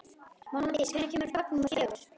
Mánadís, hvenær kemur vagn númer fjögur?